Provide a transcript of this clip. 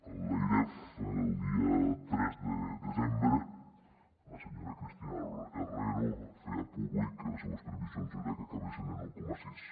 l’airef el dia tres de desembre la senyora cristina herrero feia públic que les seues previsions eren que acabessin en un coma sis